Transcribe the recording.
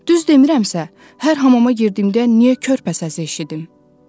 Düz demirəmsə, hər hamama girdiyimdə niyə körpə səsi eşidim?